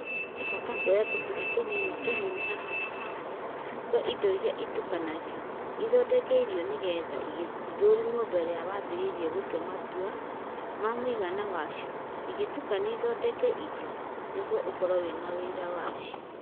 He bata kuoya tũkundi tũnini tũnini haha na harĩa twa indo iria itukanagio ithondeke irio nĩgetha ithũrimwo mbere ya wambĩrĩirie gũtua matua ma mũigana wacio igĩtukanio ithondeke irio, nĩguo ũkorwo na ũira wa